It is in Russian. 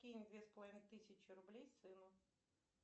кинь две с половиной тысячи рублей сыну